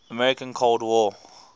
american cold war